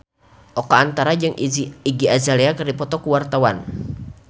Oka Antara jeung Iggy Azalea keur dipoto ku wartawan